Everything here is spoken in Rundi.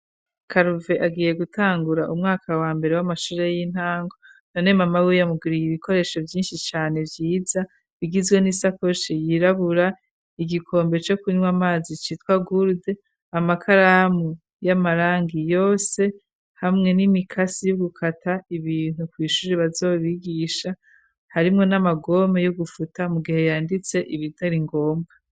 Karuve agiye gutangura umwaka wa mbere w'amashuje y'intango, none mama wiya amuguriye ibikoresho vyinshi cane vyiza bigizwe n'i sakoshe yirabura igikombe co kunywa amazi citwa gurude amakaramu y'amarangi yose, hamwe n'imikasi y'ugukata ibintu kw'ishuji bazobigisha harimwo n'amagome yougufuta mu gihe yanditse ibitari ngombwa.